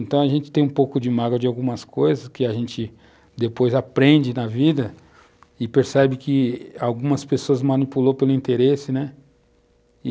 Então, a gente tem um pouco de mágoa de algumas coisas que a gente depois aprende na vida e percebe que algumas pessoas manipulou pelo interesse, né?